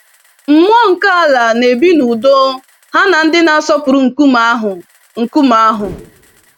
Mmụọ nke ala na-ebi n'udo ha na ndị na-asọpụrụ nkume ahụ. nkume ahụ.